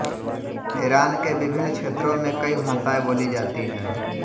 Iran के विभिन्न क्षेत्रों में कई भाषाएं बोली जाती हैं